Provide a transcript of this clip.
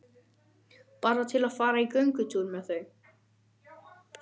Bara til að fara í göngutúr með þau.